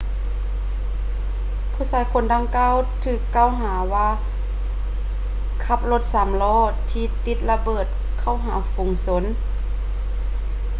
ຜູ້ຊາຍຄົນດັ່ງກ່າວຖືກກ່າວຫາວ່າຂັບລົດສາມລໍ້ທີ່ຕິດລະເບີດເຂົ້າຫາຝູງຊົນ